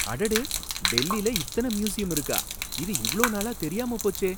அடடே! டெல்லில இத்தன மியூசியம் இருக்கா, இது இவ்ளோ நாளா தெரியாம போச்சே!